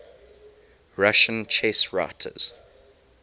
russian chess writers